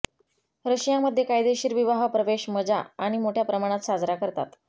Russia मध्ये कायदेशीर विवाह प्रवेश मजा आणि मोठ्या प्रमाणात साजरा करतात